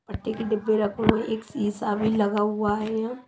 पट्टी के डिब्बे रखो हु एक शीशा भी लगा हुआ है य--